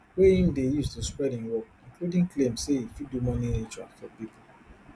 wey im dey use to spread im work including claims say e fit do money rituals for pipo